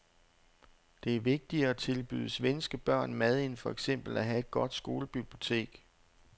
Det er vigtigere at tilbyde svenske børn mad end for eksempel at have et godt skolebibliotek.